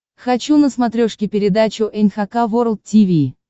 хочу на смотрешке передачу эн эйч кей волд ти ви